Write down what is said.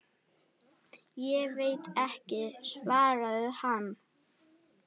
Ég veit ekki, svaraði hann.